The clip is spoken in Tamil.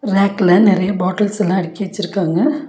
ரேக்ல நெறையா பாட்டில்ஸ் எல்லா அடுக்கி வச்சிருக்காங்க.